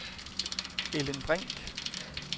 Ellen Brink